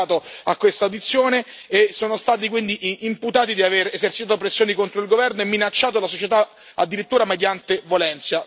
imputati di aver esercitato pressioni contro il governo e minacciato la società, addirittura mediante violenza, perturbando l'ordine costituzionale.